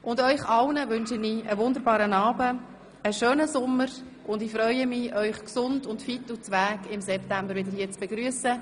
Ihnen allen wünsche ich einen wunderbaren Abend und einen schönen Sommer, und ich freue mich, Sie hier im September «gsund, fit u zwäg» wieder zu begrüssen.